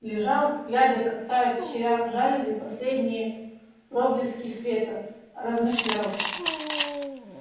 лежал глядя как тают в щелях жалюзи последние проблески света размышлял